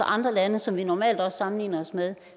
andre lande som vi normalt sammenligner os med